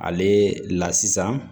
Ale la sisan